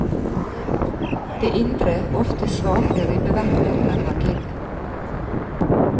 Det indre, ofte svake ribbeverket er handlingen.